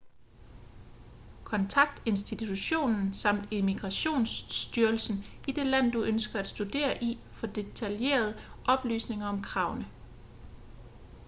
kontakt institutionen samt immigrationsstyrelsen i det land du ønsker at studere i for detaljerede oplysninger om kravene